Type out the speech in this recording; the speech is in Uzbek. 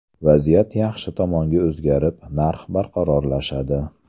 Vaziyat yaxshi tomonga o‘zgarib, narx barqarorlashadi.